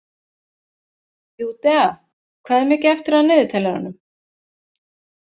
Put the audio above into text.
Júdea, hvað er mikið eftir af niðurteljaranum?